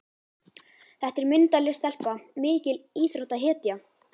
Þetta er myndarleg stelpa, mikil íþróttahetja.